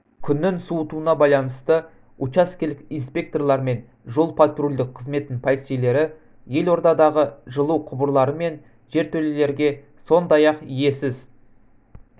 күннің суытуына байланысты учаскелік инспекторлар мен жол-патрульдік қызметінің полицейлері елордадағы жылу құбырлары мен жертөлелерге сондай-ақ иесіз